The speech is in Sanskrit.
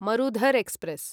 मरुधर् एक्स्प्रेस्